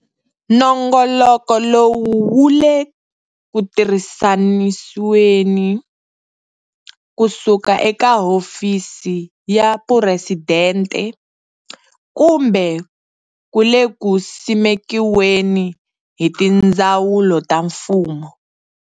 Nongoloko lowu wu le ku tirhisanisiweni kusuka eka Hofisini ya Phuresidente, kumbe ku le ku simekiweni hi tindzawulo ta mfumo.